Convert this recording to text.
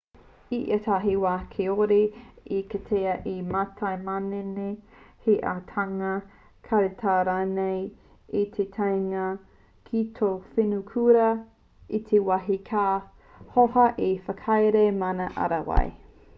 i ētahi wā kāore e kitea te mātai manene he āhuatanga karetao rānei i te taenga ki tōu whenuakura i ētahi wā ka hōhā te whakahaere mana ārai